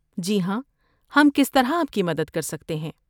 جی ہاں، ہم کس طرح آپ کی مدد کر سکتے ہیں؟